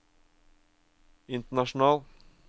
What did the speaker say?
international